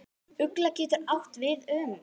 Ugla getur átt við um